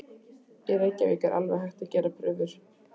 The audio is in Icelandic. Í Reykjavík er alveg hætt að gera prufur.